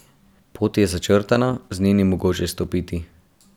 Pot je začrtana, z nje ni mogoče stopiti.